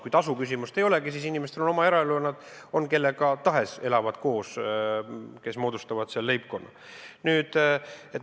Kui tasuküsimust ei ole, siis on oluline vaid see, et inimestel on oma eraelu ja nad elavad koos kellega tahes, kes moodustavad leibkonna.